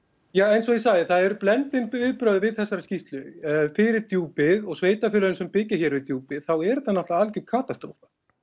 eins og ég segi það eru blendin viðbrögð við þessari skýrslu fyrir Djúpið og sveitarfélögin sem byggja hér við Djúpið er þetta alger katastrófa